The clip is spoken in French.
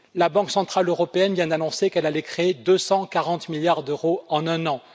La Banque centrale européenne vient d'annoncer qu'elle allait créer 240 milliards d'euros en un an.